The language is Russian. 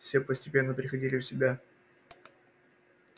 все постепенно приходили в себя